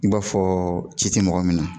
I b'a fɔ ci tɛ mɔgɔ min na